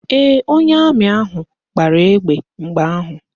Ee, onye amị ahụ gbara egbe mgbe ahụ